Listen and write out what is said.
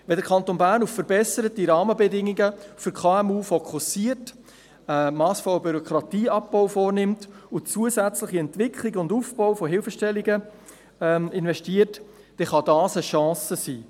Wenn der Kanton Bern auf verbesserte Rahmenbedingungen für KMU fokussiert, einen massvollen Bürokratieabbau vornimmt und in zusätzliche Entwicklungen und in den Aufbau von Hilfestellungen investiert, kann dies eine Chance sein.